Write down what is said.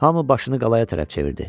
Hamı başını qalaya tərəf çevirdi.